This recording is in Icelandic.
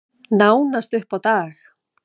Nánast upp á dag.